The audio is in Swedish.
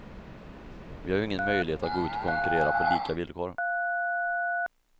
Vi har ju ingen möjlighet att gå ut och konkurrera på lika villkor.